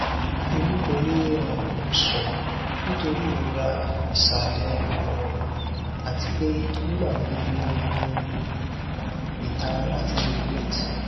emi ko le um sùn nitori irora isalẹ um ati pe nigbagbogbo n ni um itara lati urinate